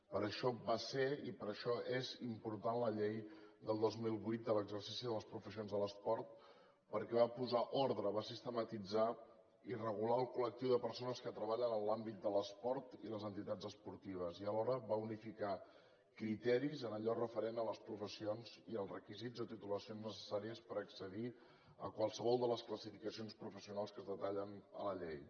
per això va ser i per això és important la llei del dos mil vuit de l’exercici de les professions de l’esport perquè va posar ordre va sistematitzar i regular el col·lectiu de persones que treballen en l’àmbit de l’esport i les entitats esportives i alhora va unificar criteris en allò referent a les professions i als requisits de titulacions necessàries per accedir a qualsevol de les classificacions professionals que es detallen a la llei